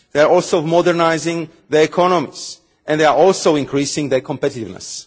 they are also modernising their economies, and they are also increasing their competitiveness.